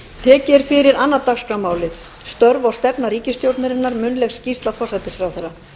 tekið er fyrir annað dagskrármálið störf og stefna ríkisstjórnarinnar munnleg skýrsla forsætisráðherra